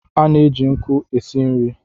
A na-eji nkụ e si nri.